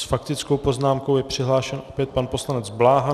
S faktickou poznámkou je přihlášen opět pan poslanec Bláha.